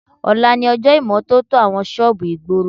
Ọ̀la ni ọjọ́ ìmọ́tótó àwọn ṣọ́ọ̀bù ìgboro